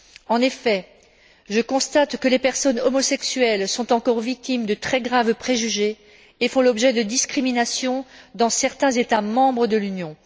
En effet, je constate que les personnes homosexuelles sont encore victimes de très graves préjugés et font l'objet de discriminations dans certains États membres de l'Union.